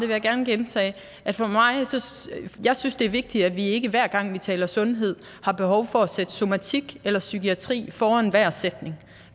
jeg gerne gentage at jeg synes det er vigtigt at vi ikke hver gang vi taler om sundhed har behov for at sætte somatik eller psykiatri foran enhver sætning